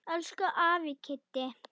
Elsku afi Kiddi.